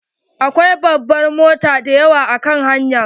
Akwai babban mota dayawa a kan hanya.